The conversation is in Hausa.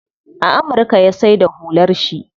A amurka ya saida hular shi.